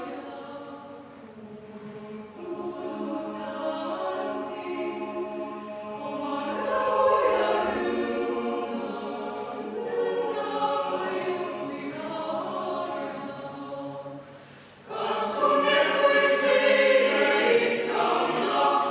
Istungi lõpp kell 12.52.